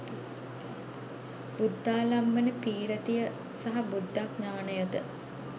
බුද්ධාලම්භන පී්‍රතිය සහ බුද්ධඥාණය ද